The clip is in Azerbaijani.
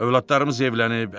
övladlarımız evlənib,